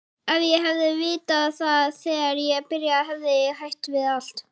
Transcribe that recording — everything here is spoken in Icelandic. Ef ég hefði vitað það þegar ég byrjaði hefði ég hætt við allt.